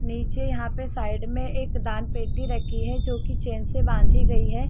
नीचे यहां पे साइड में एक दान पेटी रखी है जो कि चैन से बांधी गई है।